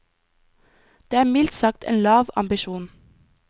Det er mildt sagt en lav ambisjon.